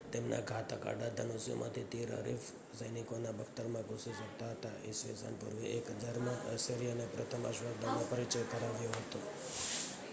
તેમના ઘાતક આડા ધનુષ્યોમાંથી તીર હરીફ સૈનિકોના બખ્તરમાં ઘૂસી શકતા હતા ઈસવીસન પૂર્વે 1000માં અશિરીયનો એ પ્રથમ અશ્વદળનો પરિચય કરાવ્યો હતો